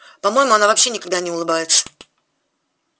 по моему она вообще никогда не улыбается